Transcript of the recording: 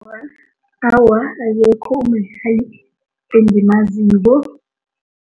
Awa, akekho umdlali engimaziko.